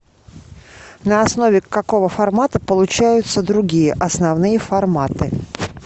на основе какого формата получаются другие основные форматы